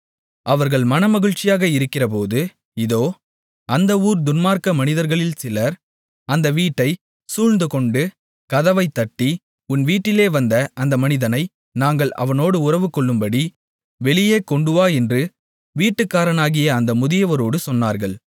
அவர்கள் மனமகிழ்ச்சியாக இருக்கிறபோது இதோ அந்த ஊர் துன்மார்க்க மனிதர்களில் சிலர் அந்த வீட்டைச் சூழ்ந்துகொண்டு கதவைத் தட்டி உன் வீட்டிலே வந்த அந்த மனிதனை நாங்கள் அவனோடு உறவுகொள்ளும்படி வெளியே கொண்டுவா என்று வீட்டுக்காரனாகிய அந்த முதியவரோடு சொன்னார்கள்